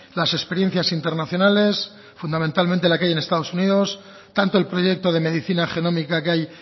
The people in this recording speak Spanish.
las experiencias internacionales fundamentalmente la que hay en estados unidos tanto el proyecto de medicina genómica que hay